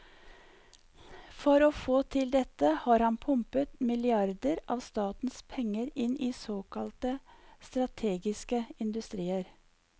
For å få til dette har han pumpet milliarder av statens penger inn i såkalte strategiske industrier.